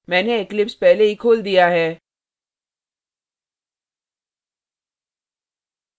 मैंने eclipse पहले ही खोल दिया है